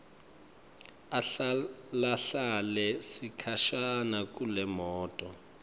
ahlalahlale sikhashana kulemoto